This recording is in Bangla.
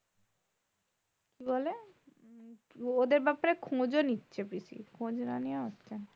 কি বলে? ওদের ব্যাপারে খোজ ও নিচ্ছে পিসি খোজ না নিয়ে আসছে না।